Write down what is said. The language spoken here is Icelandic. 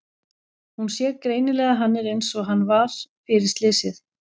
Hún sér greinilega að hann er einsog hann var fyrir slysið.